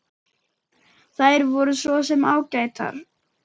Þær voru svo sem ágætar.